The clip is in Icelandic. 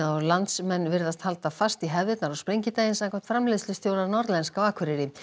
og landsmenn virðast halda fast í hefðirnar á sprengidaginn samkvæmt framleiðslustjóra Norðlenska á Akureyri